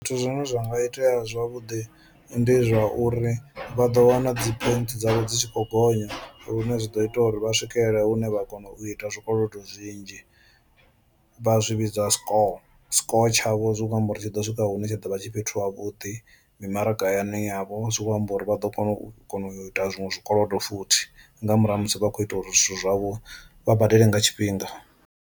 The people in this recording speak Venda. Zwithu zwine zwa nga itea zwavhuḓi ndi zwa uri vha ḓo wana dzi points dzavho dzi tshi khou gonya lune zwi ḓo ita uri vha swikelele hune vha kona u ita zwikolodo zwinzhi vha zwivhidza score. Score tshavho zwi kho amba uri tshi ḓo swika hune tsha ḓo vha tshi fhethu ha vhuḓi mimaragani yavho zwi kho amba uri vha ḓo kona u kona u ita zwiṅwe zwikolodo futhi, nga murahu ha musi vha khou ita uri zwithu zwavho vha badele nga tshifhinga.